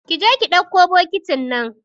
Kije ki dakko bokitin nan